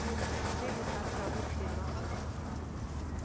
tše di kgathago tema o